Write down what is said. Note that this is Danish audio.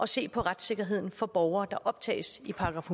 se på retssikkerheden for borgere der optages i §